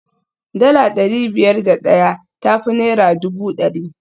Dala dari biyar da daya ta fi naira dubu dari